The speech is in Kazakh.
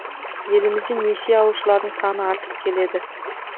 елімізде несие алушылардың саны артып келеді